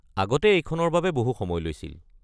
আগতে এইখনৰ বাবে বহু সময় লৈছিল।